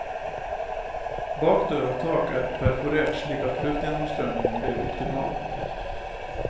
Bakdør og tak er perforert slik at luftgjennomstrømning blir optimal.